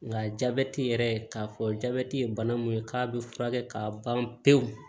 Nka jabɛti yɛrɛ k'a fɔ jabeti ye bana min ye k'a bɛ furakɛ k'a ban pewu